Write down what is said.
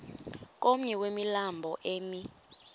komnye wemilambo emi